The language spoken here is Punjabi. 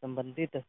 ਸੰਬੰਧਿਤ